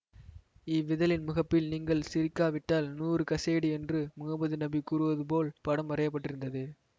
இவ்விதழின் முகப்பில் நீங்கள் சிரிக்காவிட்டால் நூறு கசையடி என்று முகம்மது நபி கூறுவது போல் படம் வரையப்பட்டிருந்தது